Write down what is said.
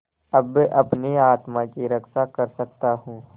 अब अपनी आत्मा की रक्षा कर सकता हूँ